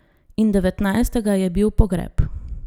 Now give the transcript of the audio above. In devetnajstega je bil pogreb.